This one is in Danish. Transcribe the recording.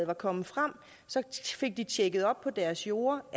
var kommet frem fik de tjekket op på deres jorder og